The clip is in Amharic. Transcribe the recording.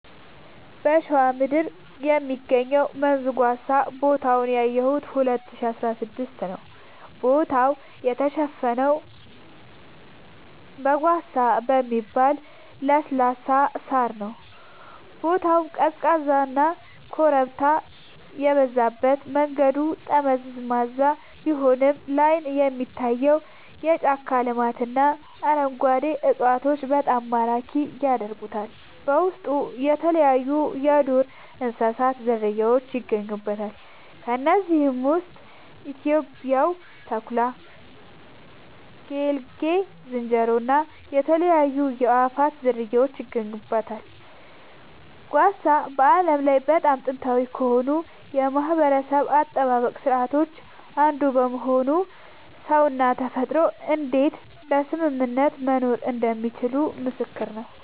በሸዋ ምድር የሚገኘው መንዝ ጓሳ ቦታውን ያየሁት 2016 ነዉ ቦታው የተሸፈነው ጓሳ በሚባል ለስላሳ ሳር ነዉ ቦታው ቀዝቃዛና ኮረብታ የበዛበት መንገዱ ጠመዝማዛ ቢሆንም ላይን የሚታየው የጫካ ልማትና አረንጓዴ እፅዋቶች በጣም ማራኪ ያደርጉታል በውስጡ የተለያይዩ የዱር እንስሳት ዝርያውች ይገኙበታል ከነዚህም ውስጥ ኢትዮጵያዊው ተኩላ ጌልጌ ዝንጀሮ እና የተለያዩ የአእዋፋት ዝርያወች ይገኙበታል። ጓሳ በዓለም ላይ በጣም ጥንታዊ ከሆኑ የማህበረሰብ አጠባበቅ ስርዓቶች አንዱ በመሆኑ ሰውና ተፈጥሮ እንዴት በስምምነት መኖር እንደሚችሉ ምስክር ነዉ